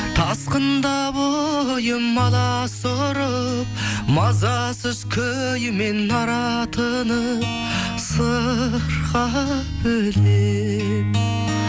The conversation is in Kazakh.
тасқында бойым аласұрып мазасыз күймен аратынып сырға бөлеп